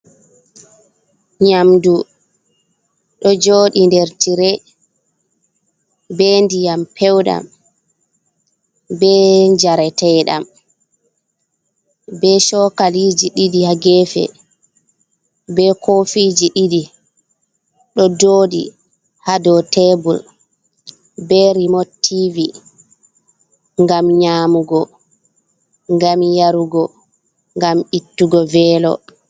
Nyamɗu ɗo joɗi nɗer tire. Be ɗiyam pewɗam. Be jareteɗam. Be chokaliji ɗiɗi ha gefe, be kofiji ɗidi. Ɗ joɗi ha ɗow tebul. Be remot tivi. Ngam nyamugo, ngam yarugo, ngam ittugo velo.